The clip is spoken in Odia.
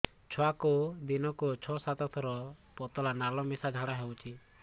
ଛୁଆକୁ ଦିନକୁ ଛଅ ସାତ ଥର ପତଳା ନାଳ ମିଶା ଝାଡ଼ା ହଉଚି